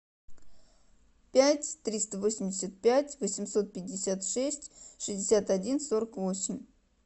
пять триста восемьдесят пять восемьсот пятьдесят шесть шестьдесят один сорок восемь